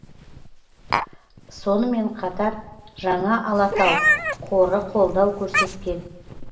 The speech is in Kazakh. сонымен қатар жаңа алатау қоры қолдау көрсеткен